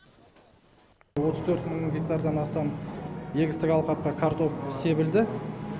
отыз төрт мың гектардан астам егістік алқапқа картоп себілді